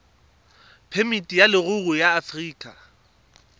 phemiti ya leruri ya aforika